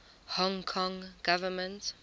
hong kong government